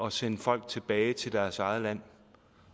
at sende folk tilbage til deres eget land